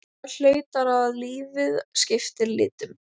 Það haustar að og lífið skiptir litum.